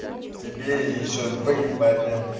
тебе ещё двоим парням